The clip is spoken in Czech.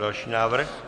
Další návrh.